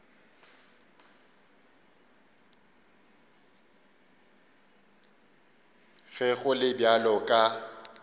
ge go le bjalo ka